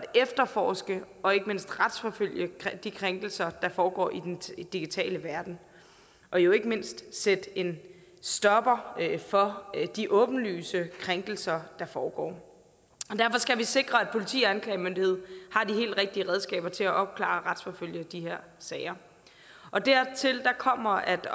efterforske og ikke mindst at retsforfølge de krænkelser der foregår i den digitale verden og jo ikke mindst sætte en stopper for de åbenlyse krænkelser der foregår derfor skal vi sikre at politi og anklagemyndighed har de helt rigtige redskaber til at opklare og retsforfølge de her sager dertil kommer at